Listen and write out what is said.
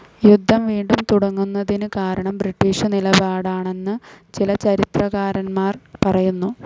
യുദ്ധം വീണ്ടും തുടങ്ങുന്നതിന് കാരണം ബ്രിട്ടീഷു നിലപാടാണെന്ന് ചില ചരിത്രകാരന്മാർ പറയുന്നു.